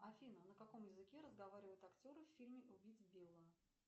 афина на каком языке разговаривают актеры в фильме убить билла